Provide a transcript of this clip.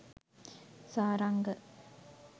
saranga